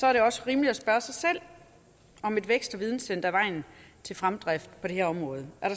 er det også rimeligt at spørge sig selv om et vækst og videnscenter er vejen til fremdrift på det her område er